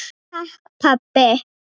Takk pabbi.